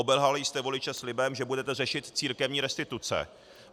Obelhali jste voliče slibem, že budete řešit církevní restituce.